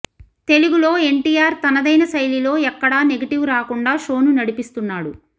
తెలుగులో ఎన్టీఆర్ తనదైన శైలిలో ఎక్కడా నెగిటివ్ రాకుండా షో ను నడిపిస్తున్నాడు